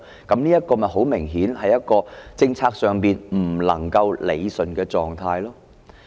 這很明顯就是一個在政策上不能夠理順的狀態。